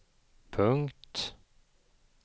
punkt